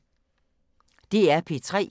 DR P3